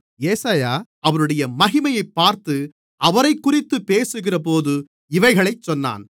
ஏசாயா அவருடைய மகிமையைப் பார்த்து அவரைக்குறித்துப் பேசுகிறபோது இவைகளைச் சொன்னான்